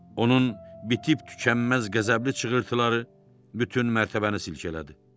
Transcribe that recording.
Onun bitib-tükənməz qəzəbli çığırtıları bütün mərtəbəni silkələdi.